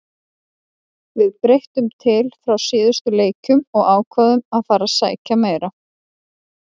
Við breyttum til frá síðustu leikjum og ákváðum að fara að sækja meira.